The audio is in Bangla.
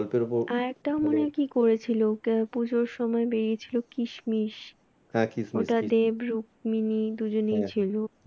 আর একটা মনে হয় কি করেছিল পুজোর সময় বেরিয়ে ছিল কিশমিশ ওটা দেব রুক্মিণী দুজনেই ছিল